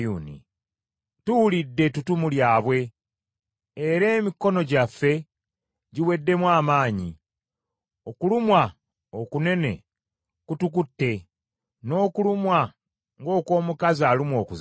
Tuwulidde ettutumu lyabwe; era emikono gyaffe giweddemu amaanyi okulumwa okunene kutukutte n’okulumwa ng’okw’omukazi alumwa okuzaala.